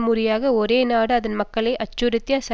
ஒரு நாடு அதன் மக்களை அச்சுறுத்திய சர்வாதிகாரியை